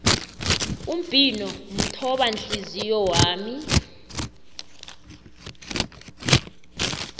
umbhino mthobanhliziyo wami